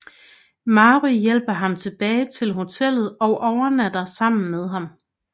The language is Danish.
Mary hjælper ham tilbage til hotellet og overnatter sammen med ham